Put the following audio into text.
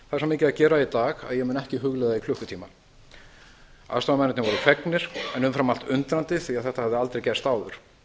að gera að í dag að hann muni ekki hugleiða í klukkutíma aðstoðarmennirnir voru fegnir en umfram allt undrandi því að þetta hafði aldrei gerst áður